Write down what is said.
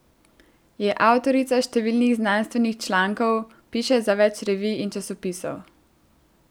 Je avtorica številnih znanstvenih člankov, piše za več revij in časopisov.